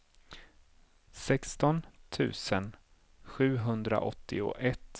sexton tusen sjuhundraåttioett